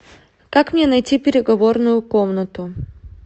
как мне найти переговорную комнату